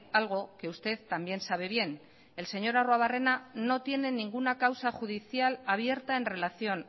algo que usted también sabe bien el señor arruebarrena no tiene ninguna causa judicial abierta en relación